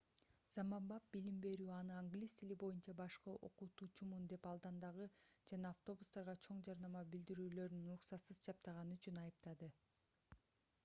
заманбап билим берүү аны англис тили боюнча башкы окутуучумун деп алдандыгы жана автобустарга чоң жарнама билдирүүлөрүн уруксатсыз чаптаганы үчүн айыптады